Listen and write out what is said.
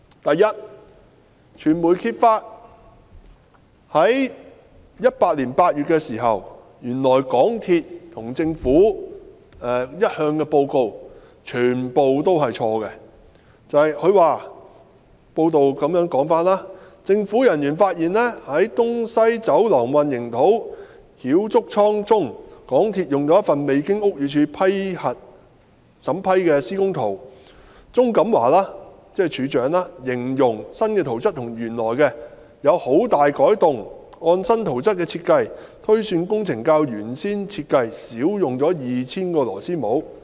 第一，傳媒在2018年8月時揭發，原來港鐵公司和政府一直以來的報告全部是錯的，報道指政府人員發現，在"東西走廊混凝土澆築倉"中，港鐵公司使用了一份未經屋宇署審批的施工圖，路政署署長鍾錦華形容新圖則與原來的圖則有很大改動，按新圖則的設計，推算工程較原先設計少用了 2,000 個螺絲帽。